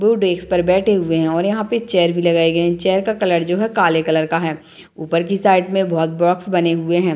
दो डेक्स पर बैठे हुए हैं और यहाँ पे चेयर भी लगाए गए हैं | चेयर का कलर जो है काले कलर का है ऊपर की साइड में बहुत बॉक्स भी बने हुए हैं |